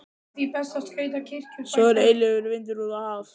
Svo er eilífur vindur af hafi.